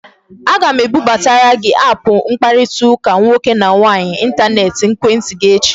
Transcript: Aga m ebubatara gị aapụ mkparịtaụka nwoke na nwaanyị intaneti n'ekwentị gị echi